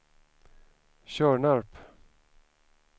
Tjörnarp